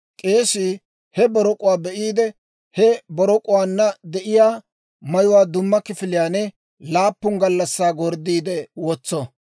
K'eesii he borok'uwaa be'iide, he borok'uwaanna de'iyaa mayuwaa dumma kifiliyaan laappun gallassaa gorddiide wotso.